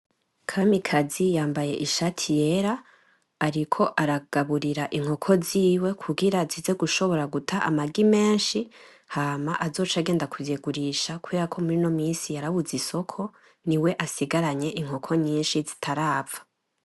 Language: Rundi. Kamikazi yambaye ishati yera ariko aragaburira inkoko ziwe kugira zize gushobora guta amagi meshi hama azoce agenda kuzigurisha kuberako murino minsi yarabuze isoko niwe asigaranye inkoko nyishi zitarapfa.